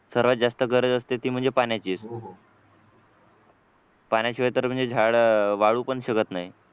सर्वात जास्त गरज असते म्हणजे ती पाण्याचीच पाण्याशिवाय म्हणजे तर झाड वाळू पण शकत नाही.